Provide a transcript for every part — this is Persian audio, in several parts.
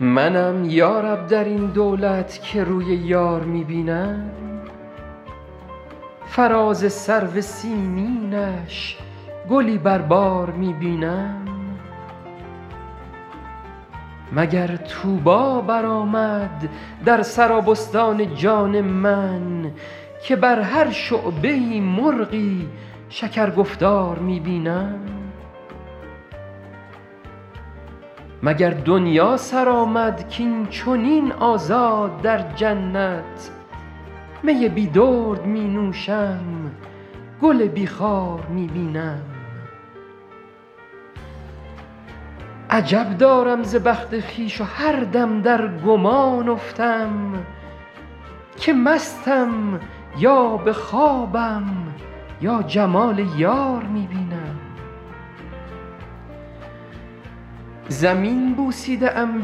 منم یا رب در این دولت که روی یار می بینم فراز سرو سیمینش گلی بر بار می بینم مگر طوبی برآمد در سرابستان جان من که بر هر شعبه ای مرغی شکرگفتار می بینم مگر دنیا سر آمد کاین چنین آزاد در جنت می بی درد می نوشم گل بی خار می بینم عجب دارم ز بخت خویش و هر دم در گمان افتم که مستم یا به خوابم یا جمال یار می بینم زمین بوسیده ام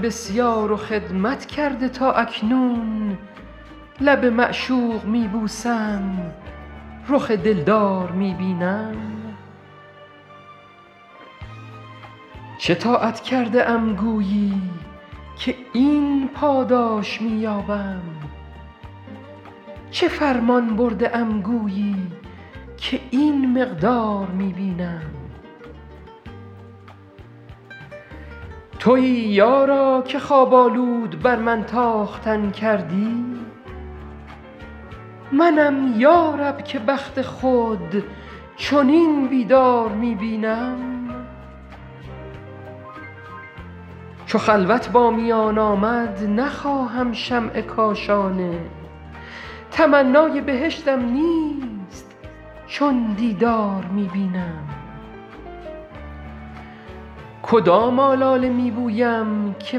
بسیار و خدمت کرده تا اکنون لب معشوق می بوسم رخ دلدار می بینم چه طاعت کرده ام گویی که این پاداش می یابم چه فرمان برده ام گویی که این مقدار می بینم تویی یارا که خواب آلود بر من تاختن کردی منم یا رب که بخت خود چنین بیدار می بینم چو خلوت با میان آمد نخواهم شمع کاشانه تمنای بهشتم نیست چون دیدار می بینم کدام آلاله می بویم که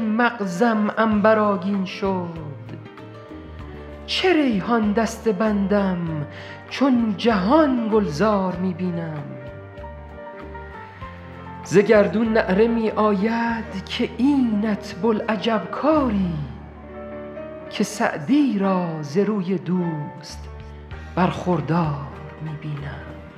مغزم عنبرآگین شد چه ریحان دسته بندم چون جهان گلزار می بینم ز گردون نعره می آید که اینت بوالعجب کاری که سعدی را ز روی دوست برخوردار می بینم